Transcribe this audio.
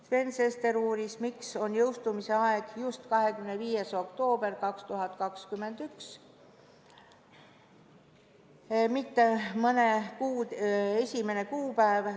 Sven Sester uuris, miks on jõustumise aeg just 25. veebruar 2021, mitte mõne kuu 1. kuupäev.